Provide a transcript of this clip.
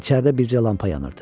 İçəridə bircə lampa yanırdı.